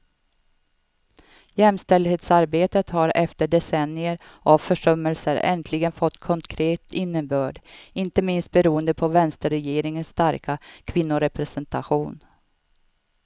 Jämställdhetsarbetet har efter decennier av försummelser äntligen fått konkret innebörd, inte minst beroende på vänsterregeringens starka kvinnorepresentation.